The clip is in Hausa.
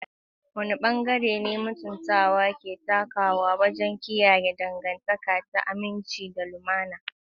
Wane bangare ne mutuntawa ke takawa wajen kiyaye dangantaka ta aminci da lumana?